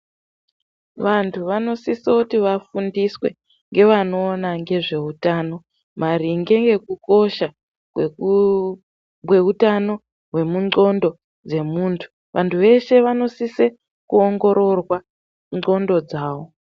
Vantu vanosise kuti vafundiswe ngevanoona ngezve utano, maringe ngekukosha kweutano hwendxondo dzemuntu. Vantu vese vanosise kuongororwa ndxondo dzavo.